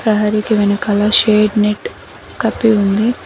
ప్రహారీకి వెనకాల shade net కప్పి ఉంది.